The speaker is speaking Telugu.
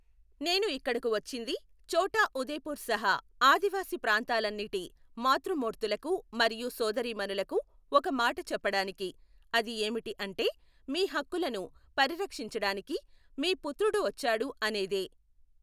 నేను ఇక్కడకు వచ్చింది ఛోటా ఉదేపుర్ సహా ఆదివాసి ప్రాంతాలన్నిటి మాతృ మూర్తులకు మరియు సోదరీమణులకు ఒక మాట చెప్పడానికి, అది ఏమిటి అంటే మీ హక్కులను పరిరక్షించడానికి మీ పుత్రుడు వచ్చాడు అనేదే.